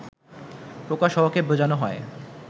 প্রকাশ হওয়াকে বোঝানো হয়